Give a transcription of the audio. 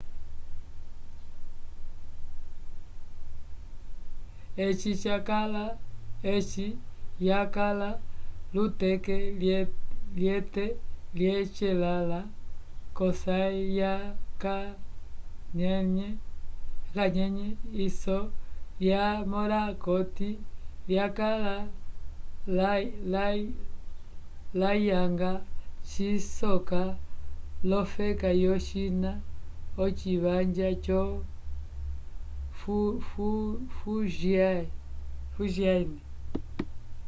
eci yakala luteke lyete lyecelanlã cosaym ya kanyenye iso lya morakot lyakala layanga cisoka lofeka yo china ochivanja yo fujyan